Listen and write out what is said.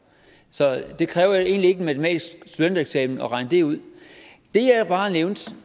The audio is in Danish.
så det kræver ikke en matematisk studentereksamen at regne det ud det jeg bare nævnte